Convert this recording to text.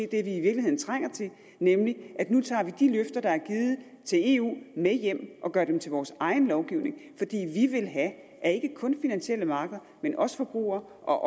det vi i virkeligheden trænger til nemlig at nu tager vi de løfter der er givet til eu med hjem og gør dem til vores egen lovgivning fordi vi vil have at ikke kun finansielle markeder men også forbrugere og